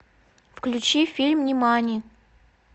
включи фильм нимани